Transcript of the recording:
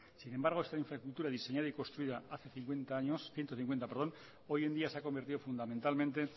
sin embargo esta infraestructura diseñada y construida hace ciento cincuenta años hoy en día se ha convertido fundamentalmente